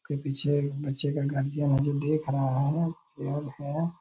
कोई पीछे बच्चे का देख रहा है है।